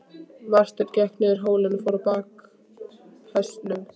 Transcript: Marteinn gekk niður hólinn og fór á bak hestinum.